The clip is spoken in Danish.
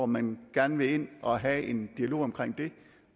man gerne vil ind og have en dialog om